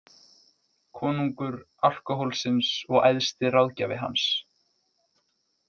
Konungur alkóhólsins og æðsti ráðgjafi hans.